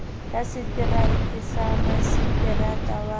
ya setereka sa maseterata wa